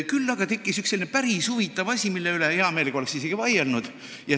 Küll aga oleksin ühe päris huvitava asja üle hea meelega isegi vaielnud.